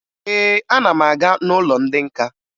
Ee, ana m aga n'ụlọ ndị nka